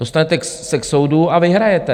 Dostanete se k soudu a vyhrajete.